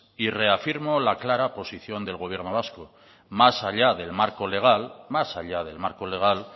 y reafirmo la clara posición del gobierno vasco más allá del marco legal más allá del marco legal